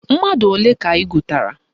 Mmadụ ole ka ị gụtara?